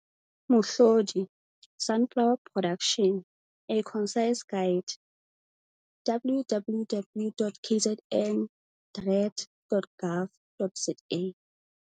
Mohlodi- Sunflower Production - A Concise Guide, www.kzndrad.gov.za